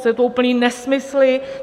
Jsou to úplné nesmysly.